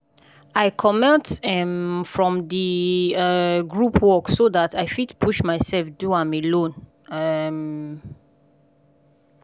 i comot um from di um group work so dat i fit push myself do am alone um.